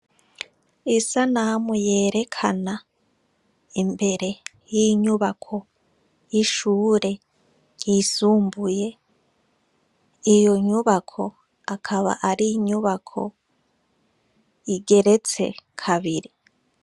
Isanamu yerekana imbere y'inyubako y'ishure yisumbuye iyo nyubako akaba ari inyubako igeretse kabiri.